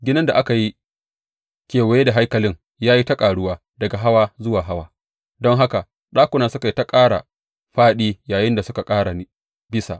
Ginin da aka yi kewaye da haikalin ya yi ta ƙaruwa daga hawa zuwa hawa, don haka ɗakunan suka yi ta ƙara fāɗi yayinda suka ƙara bisa.